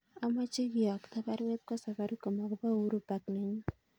Amache kiyokto baruet kwo Safaricom agobo Uhuru park nenyun